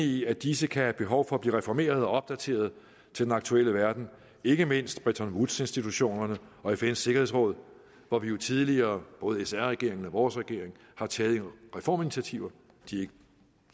i at disse kan have behov for at blive reformeret og opdateret til den aktuelle verden ikke mindst bretton woods institutionen og fns sikkerhedsråd hvor vi jo tidligere både sr regeringen og vores regering har taget reforminitiativer de